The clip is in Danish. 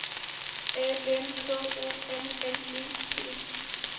A N K O M M E T